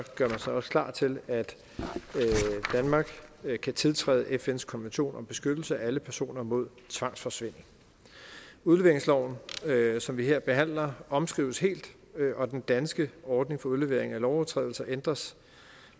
gør man sig også klar til at danmark kan tiltræde fns konvention om beskyttelse af alle personer mod tvangsforsvinding udleveringsloven som vi her behandler omskrives helt og den danske ordning for udlevering af lovovertrædere ændres